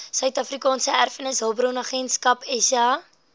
suidafrikaanse erfenishulpbronagentskap saeha